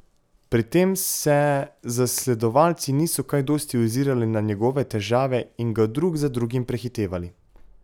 Pri tem se zasledovalci niso kaj dosti ozirali na njegove težave in ga drug za drugim prehitevali.